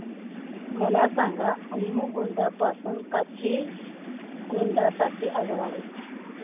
मला सांगा अम्मुगुडा पासून काचीगुडा साठी आगगाडी